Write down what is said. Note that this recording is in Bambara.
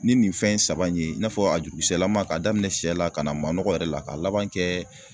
Ni nin fɛn in saba in ye i n'a fɔ a jurukisɛlama k'a daminɛ sɛ la ka na manɔgɔ yɛrɛ la k'a laban kɛ